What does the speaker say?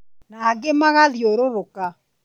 na angĩ magathiũrũrũka